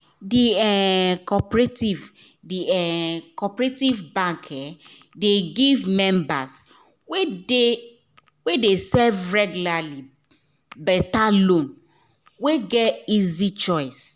d um cooperative d um cooperative bank um dey give members wey dey save regularly better loan wey get easy choice